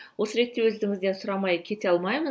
осы ретте өзіңізден сұрамай кете алмаймын